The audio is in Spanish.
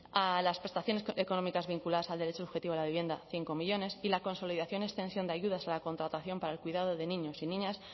a las prestaciones económicas vinculadas al derecho subjetivo a la vivienda cinco millónes y la consolidación y extensión de ayudas a la contratación para el cuidado de niños y niñas